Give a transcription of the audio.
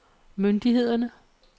myndighederne